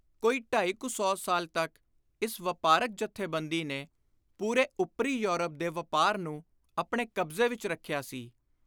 ਕੋਈ ਢਾਈ ਕੁ ਸੌ ਸਾਲ ਤਕ ਇਸ ਵਾਪਾਰਕ ਜਥੇਬੰਦੀ ਨੇ ਪੂਰੇ ਉੱਤਰੀ ਯੂਰਪ ਦੇ ਵਾਪਾਰ ਨੂੰ ਆਪਣੇ ਕਬਜ਼ੇ ਵਿਚ ਰੱਖਿਆ ਸੀ।